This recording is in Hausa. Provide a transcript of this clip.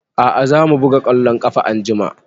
A'a za mu buga ƙwallon ƙafa anjima